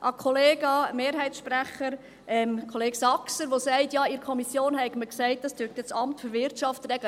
An Kollega Saxer, den Mehrheitssprecher, der sagt, in der Kommission habe man gesagt, das AWI werde dies regeln: